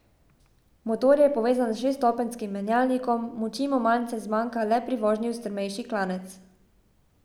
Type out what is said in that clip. Motor je povezan s šeststopenjskim menjalnikom, moči mu malce zmanjka le pri vožnji v strmejši klanec.